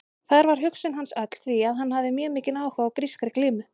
Þar var hugsun hans öll því að hann hafði mjög mikinn áhuga á grískri glímu.